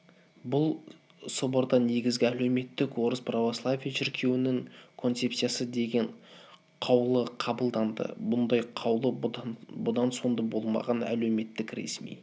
бұл соборда негізгі әлеуметтік орыс православие шіркеуінің концепциясы деген қаулы қабылданды бұндай қаулы бұрын-соңды болмаған әлеуметтік ресми